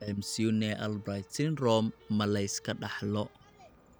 McCune Albright syndrome ma la iska dhaxlo?